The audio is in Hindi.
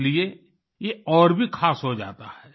इसलिए ये और भी खास हो जाता है